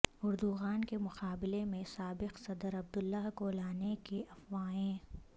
Erdogan کے مقابلے میں سابق صدر عبداللہ کو لانے کی افواہیں